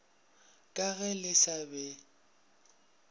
ka ge le sa be